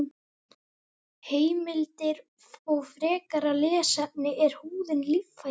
Heimildir og frekara lesefni: Er húðin líffæri?